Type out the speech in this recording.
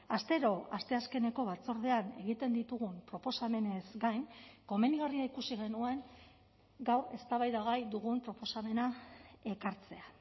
astero asteazkeneko batzordean egiten ditugun proposamenez gain komenigarria ikusi genuen gaur eztabaidagai dugun proposamena ekartzea